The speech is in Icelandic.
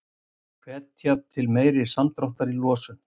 Hvetja til meiri samdráttar í losun